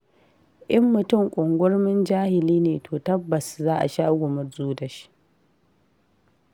In mutum ƙungurmin jahili ne, to tabbas za a sha gumurzu da shi.